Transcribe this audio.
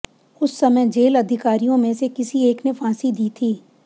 उस समय जेल अधिकारियों में से किसी एक ने फांसी दी थी